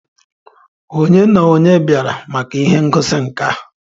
Ònye na onye bịara maka ihe ngosi nka?